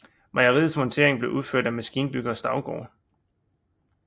Mejeriets montering blev udført af maskinbygger Staugaard